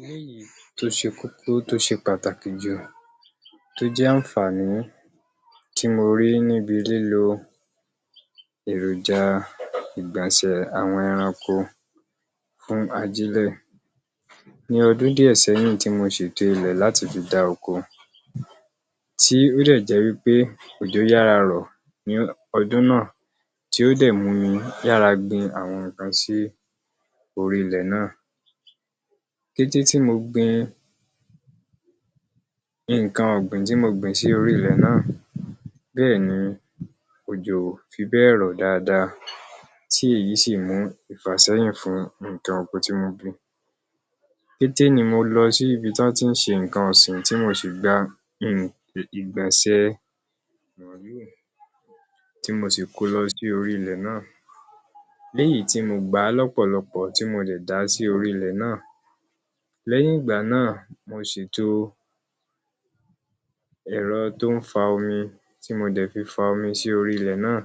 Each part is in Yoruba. Eléyìí tó ṣe kókó tó ṣe pàtàkì tó jẹ́ àǹfàní tí mo rí níbi lílo èròjà ìgbọ̀nsẹ̀ àwọn ẹranko fún ajílẹ̀. Ní ọdún díẹ̀ sẹ́yìn tí mo ṣètò ilẹ̀ láti fi dá oko tí ó dẹ̀ jẹ́ wí pé ojò yára rọ̀ ní ọdún náà tí ó dẹ̀ [um[ yára gbin àwọn nǹkan sí orí ilẹ̀ náà. Kété tí mo gbin nǹkan ọ̀gbìn tí mo gbìn sí orí ilẹ̀ náà, bẹ́ẹ̀ ni òjò ò fi bẹ́ẹ̀ rọ̀ dáadáa tí èyí sì mú ìfàsẹ́yìn fún nǹkan oko tí mo gbìn. Kété ni mo lọ sí ibi tí wọ́n ti ń ṣe nǹkan ọ̀sìn tí mo sì gba um ìgbọ̀nsẹ màlúù tí mo sì ko lọ sí orí ilẹ̀ náà léyìí tí mo gbà lọ́pọ̀lọpọ̀ tí mo dẹ̀ dà á sí orí ilẹ̀ náà. Lẹ́yìn ìgbà náà, mo ṣètò ẹrọ tó ń fa omi tí mo dẹ̀ fi fa omi sí orí ilẹ̀ náà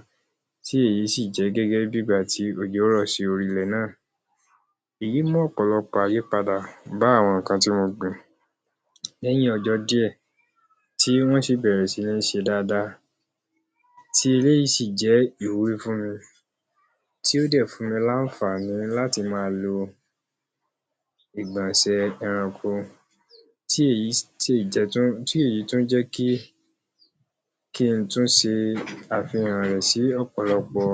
tí èyí sì jẹ́ gẹ́gẹ́ bí ìgbà tí òjò rọ̀ sí orí ilẹ̀ náà. Èyí mú ọ̀pọ̀lọpọ̀ àyípadà bá àwọn nǹkan tí mo gbìn lẹ́yìn ọjọ́ díẹ̀ tí wọ́n sì bẹ̀rẹ̀ sí ní ṣe dáadáa ti eléyìí sì jẹ́ ìwúrí fún mi tí ó dẹ̀ fún mi láǹfàní láti máa lo ìgbọ̀nsẹ ẹranko, tí èyí tún jẹ́ kí kí n tún ṣe àfihàn rẹ̀ sí ọ̀pọ̀lọpọ̀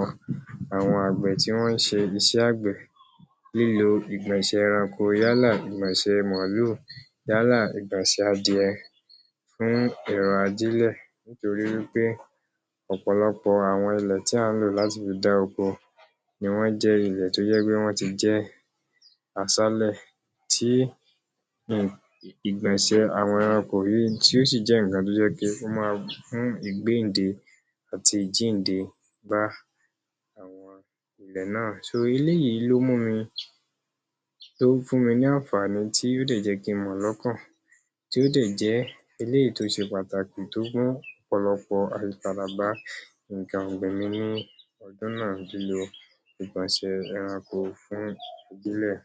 àwọn àgbẹ̀ tí wọ́n ń ṣe iṣẹ́ àgbẹ̀, lílo ìgbọ̀nsẹ̀ ẹranko yálà ìgbọ̀nsẹ màálù yálà ìgbọ̀nsẹ adìẹ fún ìran ajílẹ̀ nítorí wí pé ọ̀pọ̀lọpọ̀ àwọn ilẹ̀ tí à ń lò láti fi dá oko ni wọ́n jẹ́ ilè tó jẹ́ pé wọ́n ti jẹ́ aṣálẹ̀ tí um ìgbọ̀nsẹ àwọn ẹranko yìí tí ó sì jẹ́ nǹkan tó jẹ́ pé ó máa wà fún ìgbéǹde àti ìjíǹde bá àwọn ilẹ̀ náà so eléyìí ló mú mi tó fún mi ní àǹfàní tí ó dẹ̀ jé kí n mọ̀ lọ́kàn, tó dẹ̀ jẹ́ eléyìí tó ṣe pàtàkì tó gbọ́n bá nǹkan ọ̀gbìn mi ní ọdún náà. Lílo ìgbọ̀nsẹ̀ ẹranko fún ajílẹ̀